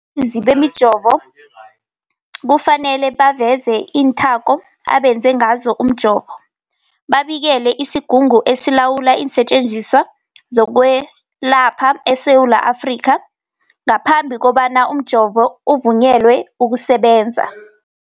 Abakhiqizi bemijovo kufanele baveze iinthako abenze ngazo umjovo, babikele isiGungu esiLawula iinSetjenziswa zokweLapha eSewula Afrika, i-SAHPRA, ngaphambi kobana umjovo uvunyelwe ukusebenza.